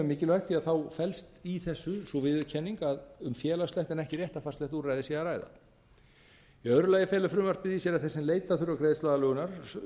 mikilvægt því að þá felst í þessu sú viðurkenning að um félagslegt en ekki réttarfarslegt úrræði sé að ræða í öðru lagi felur frumvarpið í sér að þeir sem leita þurfa greiðsluaðlögunar